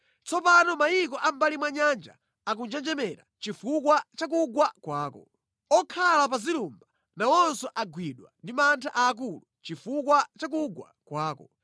Tsopano mayiko a mʼmbali mwa nyanja akunjenjemera chifukwa cha kugwa kwako; okhala pa zilumba nawonso agwidwa ndi mantha aakulu chifukwa cha kugwa kwako.’